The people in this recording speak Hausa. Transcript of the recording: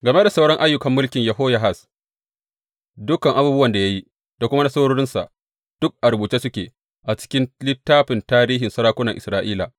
Game da sauran ayyukan mulkin Yehoyahaz, dukan abubuwan da ya yi da kuma nasarorinsa, duk a rubuce suke a cikin littafin tarihin sarakunan Isra’ila.